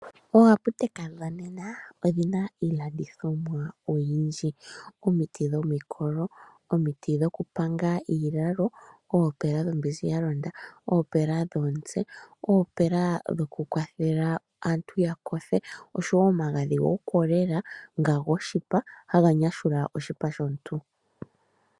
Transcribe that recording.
Ooaaputeka dhonena odhina iilandithomwa oyindji. Omuna omiti dhomikolo , omiti dhokupanga iilalo , oopela dhombinzi yalonda , oopela dhomutse , oopela dhoku kwathela aantu yakothe osho wo omagadhi gokolela nga goshipa haga nyashula oshipa shomuntu .